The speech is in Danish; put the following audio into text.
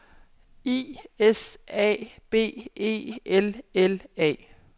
I S A B E L L A